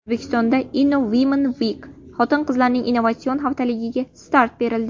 O‘zbekistonda Innowomenweek xotin-qizlarning innovatsiya haftaligiga start berildi .